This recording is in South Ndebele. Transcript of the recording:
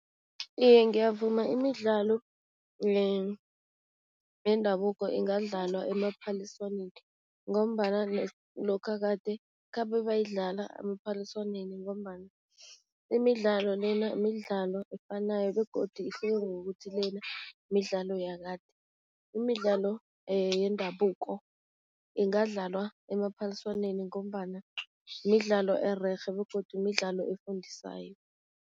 Iye, ngiyavuma imidlalo yendabuko ingadlalwa emaphaliswaneni ngombana lokha kade khabe bayidlala emaphaliswaneni ngombana imidlalo lena midlalo efanayo begodu ihluke ngokuthi lena midlalo yakade. Imidlalo yendabuko ingadlalwa emaphaliswaneni ngombana midlalo ererhe begodu midlalo efundisayo.